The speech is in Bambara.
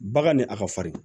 Bagan ni a ka fari